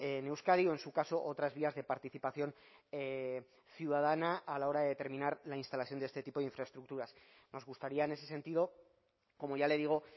en euskadi o en su caso otras vías de participación ciudadana a la hora de determinar la instalación de este tipo de infraestructuras nos gustaría en ese sentido como ya le digo